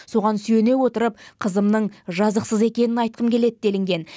соған сүйене отырып қызымның жазықсыз екенін айтқым келеді делінген